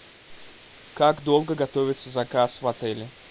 как долго готовится заказ в отеле